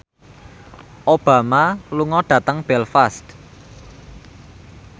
Obama lunga dhateng Belfast